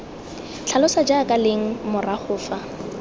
tlhalosa jaaka leng morago fa